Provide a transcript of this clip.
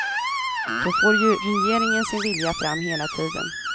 Då får ju regeringen sin vilja fram hela tiden.